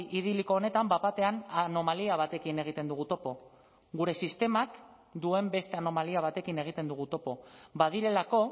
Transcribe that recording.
idiliko honetan bat batean anomalia batekin egiten dugu topo gure sistemak duen beste anomalia batekin egiten dugu topo badirelako